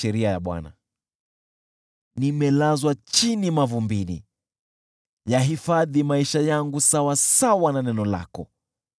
Nimelazwa chini mavumbini, yahifadhi maisha yangu sawasawa na neno lako.